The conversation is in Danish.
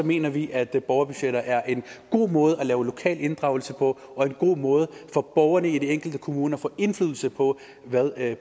mener vi at borgerbudgetter er en god måde at lave lokal inddragelse på og at en god måde for borgerne i den enkelte kommune at få indflydelse på hvad